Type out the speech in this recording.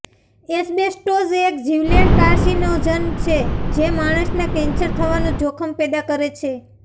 asbestos એક જીવલેણ carcinogen છે જે માણસમાં કેન્સર થવાનું જોખમ પેદા કરે છે